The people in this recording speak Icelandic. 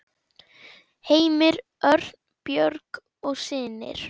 Heimir Örn, Björg og synir.